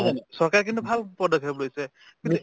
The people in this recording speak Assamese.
নহয় জানো চৰকাৰে কিন্তু ভাল পদক্ষেপ লৈছে কিন্তু